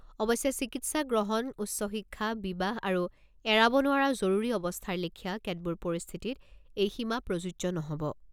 অৱশ্যে, চিকিৎসা গ্ৰহণ, উচ্চ শিক্ষা, বিবাহ আৰু এৰাব নোৱাৰা জৰুৰী অৱস্থাৰ লেখিয়া কেতবোৰ পৰিস্থিতিত এই সীমা প্ৰযোজ্য নহ'ব।